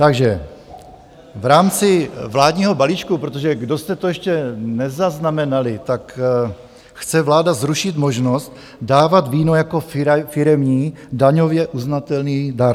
Takže v rámci vládního balíčku, protože kdo jste to ještě nezaznamenali, tak chce vláda zrušit možnost dávat víno jako firemní daňově uznatelný dar.